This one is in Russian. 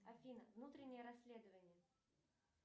афина внутреннее расследование